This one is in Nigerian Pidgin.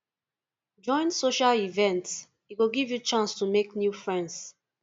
join social events e go give you chance to make new friends